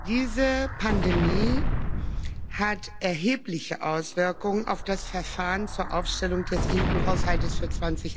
Diese Pandemie hat erhebliche Auswirkungen auf das Verfahren zur Aufstellung des EU Haushaltes für